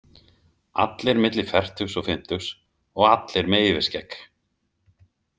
Allir milli fertugs og fimmtugs og allir með yfirskegg.